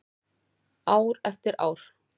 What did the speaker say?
Ár eftir ár.